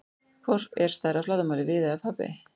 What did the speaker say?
Hvor er stærri að flatarmáli, Viðey eða Papey?